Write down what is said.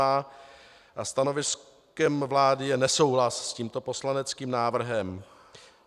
A stanoviskem vlády je nesouhlas s tímto poslaneckým návrhem.